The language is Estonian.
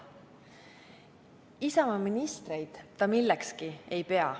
Isamaa ministreid ei pea ta millekski.